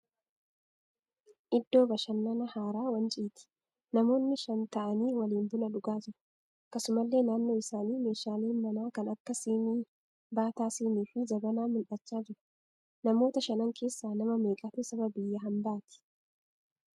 Iddoo bashannanaa haara Wanciiti. Namoonni shan ta'aanii waliin buna dhugaa jiru. Akkasumallee naannoo isaanii meeshaaleen manaa kan akka sinii, baataa sinii fi jabanaa mul'achaa jiru. Namoota shanan keessaa nama meeqatu saba biyya hambaatii?